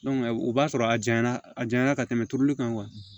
u b'a sɔrɔ a janyana a janya na ka tɛmɛ turuli kan kuwa